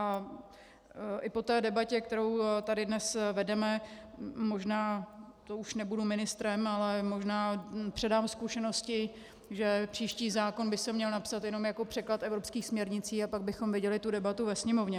A i po té debatě, kterou tady dnes vedeme, možná, to už nebudu ministrem, ale možná předám zkušenosti, že příští zákon by se měl napsat jenom jako překlad evropských směrnic, a pak bychom viděli tu debatu ve Sněmovně.